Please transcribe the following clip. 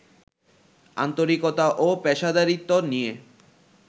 আন্তরিকতা ও পেশাদারিত্ব নিয়ে